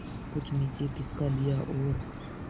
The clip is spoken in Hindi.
कुछ नीचे खिसका लिया और